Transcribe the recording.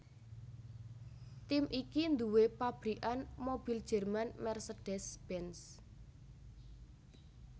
Tim iki nduwé pabrikan mobil Jerman Mercedes Benz